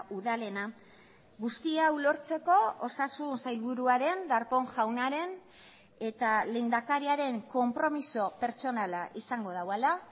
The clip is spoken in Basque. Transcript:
udalena guzti hau lortzeko osasun sailburuaren darpón jaunaren eta lehendakariaren konpromiso pertsonala izango duela